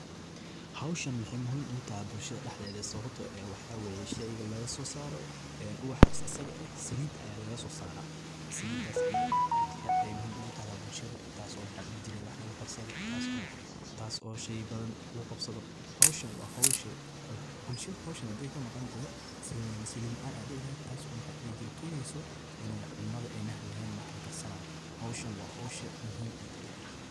Hoosaan maxay muhiim ugu tahay bulshada dhexdeeda? Sababtu waxay tahay in hoosaha laga soo saaro wax muhiim ah — saliid. Saliiddaas aad iyo aad bay muhiim ugu tahay bulshada. Taaso wax lagu karsado, taaso sheey badan lagu qabsado .Hoosahan waa hoosho bulsho. Haddii ay ka maqnaato, waxaa dhici lahayd in saliid la’aan timaado, taasoo keeni lahayd in cuntada aan la karin karin sidii la rabay. Hoosaha waa hoosha muhiim eeh.